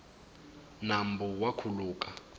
nambu wa khuluka